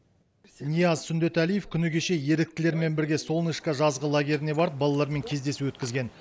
нияз сүндетәлиев күні кеше еріктілермен бірге солнышко жазғы лагеріне барып балалармен кездесу өткізген